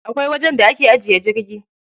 Akwai wajen da ake ajiye jirgi.